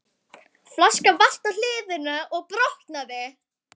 Flaskan valt á hliðina og brotnaði.